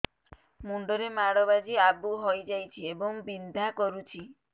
ମୁଣ୍ଡ ରେ ମାଡ ବାଜି ଆବୁ ହଇଯାଇଛି ଏବଂ ବିନ୍ଧା କରୁଛି